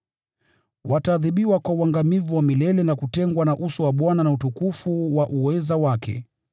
Wataadhibiwa kwa uangamivu wa milele na kutengwa na uso wa Bwana na utukufu wa uweza wake,